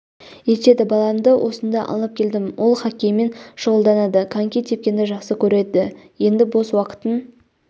етеді баламды осында алып келдім ол хоккеймен шұғылданады коньки тепкенді жақсы көреді енді бос уақытын